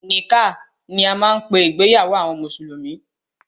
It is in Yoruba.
Nikkah ni a máa ń pé ìgbéyàwó àwọn mùsùlùmí.